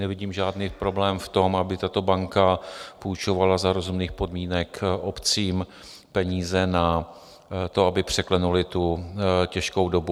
Nevidím žádný problém v tom, aby tato banka půjčovala za rozumných podmínek obcím peníze na to, aby překlenuly tu těžkou dobu.